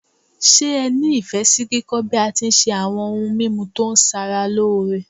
Se ẹ ni Ifẹ si kíkọ́ bi a ti n se awo̩n oun mimu to sara loore?